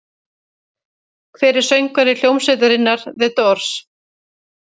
Hver var söngvari hljómsveitarinnar The Doors?